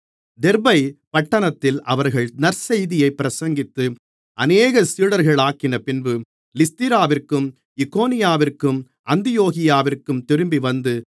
தெர்பை பட்டணத்தில் அவர்கள் நற்செய்தியைப் பிரசங்கித்து அநேகரைச் சீடர்களாக்கினபின்பு லீஸ்திராவிற்கும் இக்கோனியாவிற்கும் அந்தியோகியாவிற்கும் திரும்பிவந்து